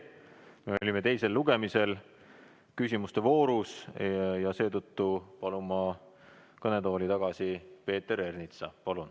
Me olime teisel lugemisel küsimuste voorus ja seetõttu palun kõnetooli tagasi Peeter Ernitsa.